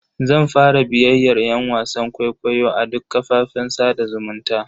Zan fara bibiyar yan wasan kwaikwayo a duk kafafen sada zumunta.